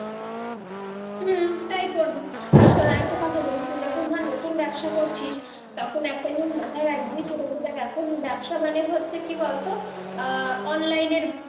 হম তাই করবি আর শুন আর একটা কথা বলি, তুই এখন ধর নতুন ব্যবসা করছিস, তখন একটাই জিনিস মাথায় রাখবি সেইটা হচ্ছে এখন ব্যবসা মানে হচ্ছে কি বল তো, আহ online এর-